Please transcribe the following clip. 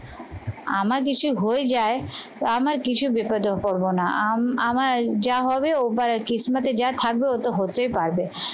আমার কিছু হয়ে যায় তো আমার কিছু বিপদেও পড়বো না আমার যা হবে ওপার আর কিস্তিমাতে যা থাকবে ও তো হতেই পারবে।